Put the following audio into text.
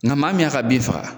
Nka maa min y'a ka bin faga